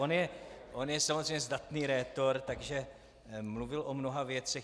On je samozřejmě zdatný rétor, takže mluvil o mnoha věcech.